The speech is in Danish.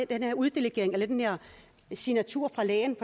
den her uddelegering den her signatur fra lægen